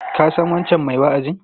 Ka san wancan mai wa'azin?